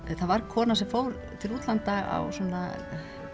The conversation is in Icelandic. það var kona sem fór til útlanda á svona